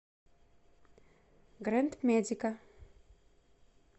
грэнд медика